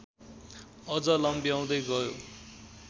अझ लम्ब्याउँदै गयो।